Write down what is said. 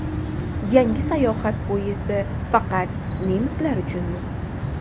Yangi sayohat poyezdi faqat nemislar uchunmi?.